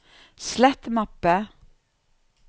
slett mappe